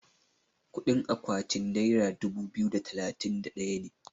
kudin akwaatin naira dubu biyu da talatin da daya ne